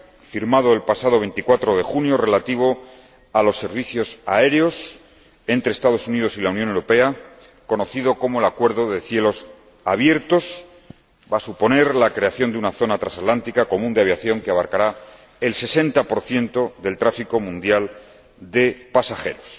firmado el pasado 24 de junio, relativo a los servicios aéreos entre los Estados Unidos y la Unión Europea conocido como el acuerdo de cielos abiertos, que va a suponer la creación de una zona transatlántica común de aviación que abarcará el 60 del tráfico mundial de pasajeros.